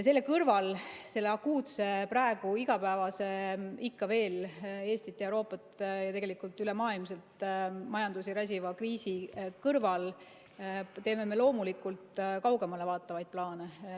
Selle kõrval, selle akuutse, praegu igapäevaselt ikka veel Eestis, Euroopas ja tegelikult üle maailma majandust räsiva kriisi kõrval teeme me kaugemale vaatavaid plaane.